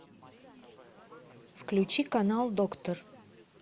включи канал доктор